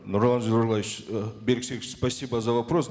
нурлан зайроллаевич э берик серикович спасибо за вопрос